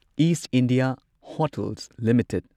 is India Hotels limited